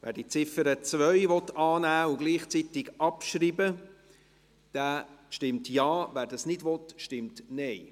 Wer die Ziffer 2 annehmen und gleichzeitig abschreiben will, stimmt Ja, wer das nicht will, stimmt Nein.